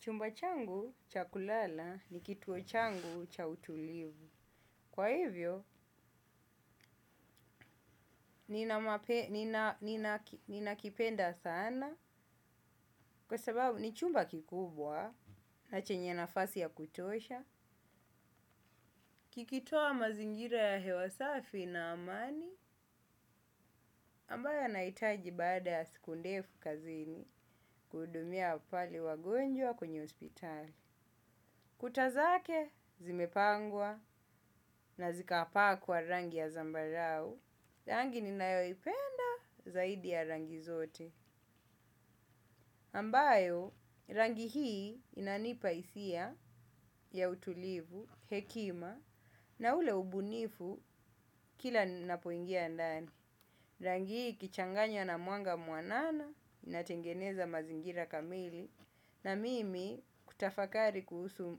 Chumba changu cha kulala ni kituo changu cha utulivu. Kwa hivyo, nina kipenda sana kwa sababu ni chumba kikubwa na chenye nafasi ya kutosha. Kikitoa mazingira ya hewa safi na amani ambayo nahitaji baada ya siku ndefu kazini kuhudumia apali wagonjwa kwenye hospitali. Kuta zake zimepangwa na zikapakwa rangi ya zambarau, rangi ninayoipenda zaidi ya rangi zote. Ambayo rangi hii inanipa hisia ya utulivu, hekima na ule ubunifu kila ninapoingia ndani. Rangi hii ikichanganywa na mwanga mwanana inatengeneza mazingira kamili na mimi kutafakari kuhusu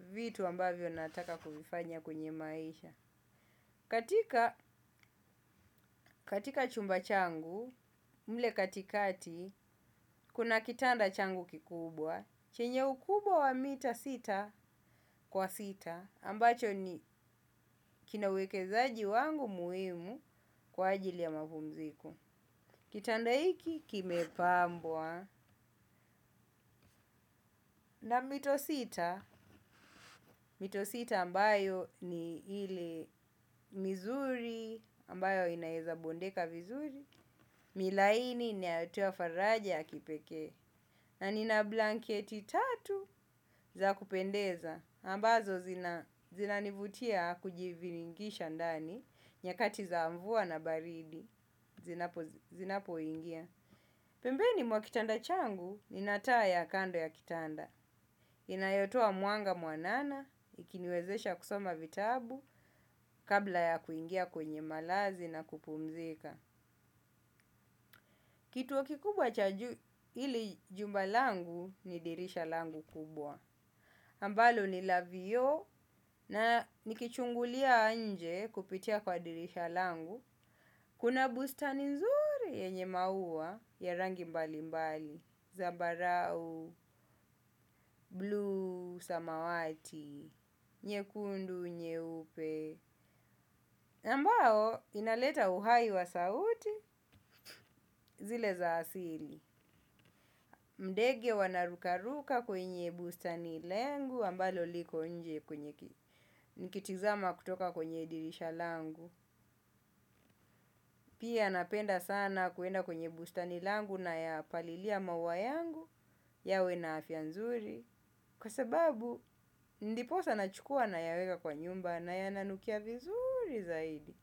vitu ambavyo nataka kuvifanya kwenye maisha. Katika chumba changu, mle katikati, kuna kitanda changu kikubwa, chenye ukubwa wa mita sita kwa sita, ambacho ni kinawekezaji wangu muhimu kwa ajili ya mapumziko. Kitanda hiki kime pambwa na mito sita, mito sita ambayo ni hili mizuri ambayo inaeza bondeka mizuri, milaini ni atuwa faraja ya kipekee na nina blanketi tatu za kupendeza, ambazo zina nivutia kujivingisha ndani nyakati za mvua na baridi zinapo ingia. Pembeni mwa kitanda changu nina taa ya kando ya kitanda. Inayotoa mwanga mwanana ikiniwezesha kusoma vitabu kabla ya kuingia kwenye malazi na kupumzika. Kituo kikubwa cha juu ili jumba langu ni dirisha langu kubwa. Ambalo ni la vioo na nikichungulia nje kupitia kwa dirisha langu. Kuna bustani nzuri yenye maua ya rangi mbali mbali, zambarau, bluu, samawati, nyekundu, nyeupe. Ambao inaleta uhai wa sauti zile za asili. Ndege wanarukaruka kwenye bustani langu ambalo liko nje kwenye nikitizama kutoka kwenye dirisha langu. Pia napenda sana kuenda kwenye bustani langu na ya palilia maua yangu yawe na afya nzuri. Kwa sababu, ndiposa na chukua na yaweka kwa nyumba na ya nanukia vizuri zaidi.